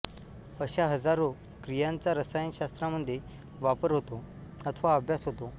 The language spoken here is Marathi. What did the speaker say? अश्या हजारो क्रियांचा रसायन शास्त्रामध्ये वापर होतो अथवा अभ्यास होतो